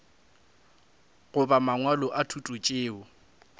goba mangwalo a thuto tšeo